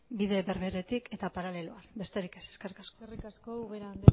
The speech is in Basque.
bide berberetik eta paraleloki besterik ez eskerrik asko eskerrik asko ubera anderea